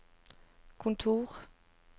kontor